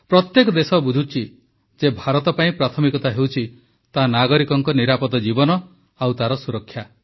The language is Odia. ପ୍ରତ୍ୟେକ ଦେଶ ବୁଝୁଛି ଯେ ଭାରତ ପାଇଁ ପ୍ରାଥମିକତା ହେଉଛି ତା ନାଗରିକଙ୍କ ନିରାପଦ ଜୀବନ ଓ ତାର ସୁରକ୍ଷା